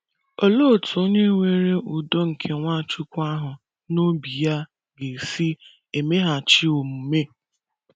Olee otú onye nwere udo nke Nwachukwu ahụ n’obi ya ga - esi emeghachi omume?